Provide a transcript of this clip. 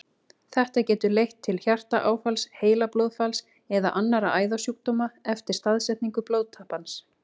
Þetta getur leitt til hjartaáfalls, heilablóðfalls eða annarra æðasjúkdóma eftir staðsetningu blóðtappans.